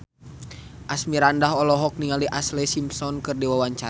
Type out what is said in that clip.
Asmirandah olohok ningali Ashlee Simpson keur diwawancara